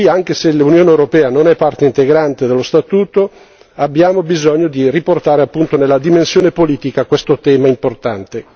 Anche se l'Unione europea non è parte integrante dello Statuto abbiamo bisogno di riportare appunto nella dimensione politica questo tema importante.